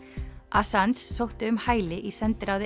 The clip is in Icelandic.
assange sótti um hæli í sendiráði